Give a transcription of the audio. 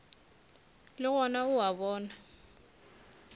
le gona o a bona